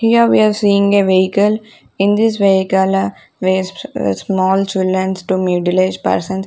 Here we are seeing a vehicle in this vehicle v small children to middle age person.